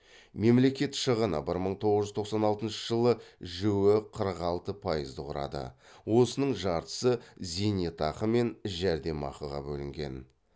мемлекет шығыны бір мың тоғыз жүз тоқсан алтыншы жылы жіө қырық алты пайызды құрады осының жартысы зейнетақы мен жәрдем ақыға бөлінген